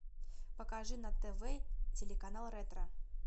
покажи на тв телеканал ретро